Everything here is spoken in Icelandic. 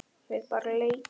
Við bara leitum.